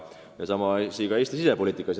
Ja sama asi on Eesti sisepoliitikas.